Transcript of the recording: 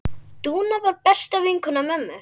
Dúna var besta vinkona mömmu.